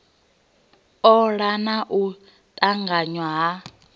ola na u tanganya ha